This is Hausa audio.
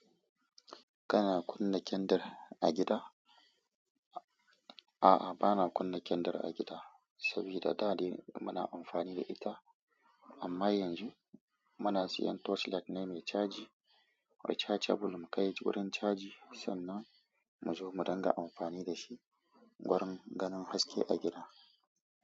Kana kunna kendir a gida? A'a, bana kunna kendir a gida sabida dadai muna amfani da ita. Amma yanzu muna siyan torchlight ne mecaji rechargeble mukai wurin caji sannan mu zo mu dinga amfani da shi wurin ganin haske a gida.